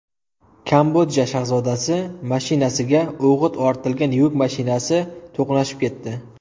Kambodja shahzodasi mashinasiga o‘g‘it ortilgan yuk mashinasi to‘qnashib ketdi.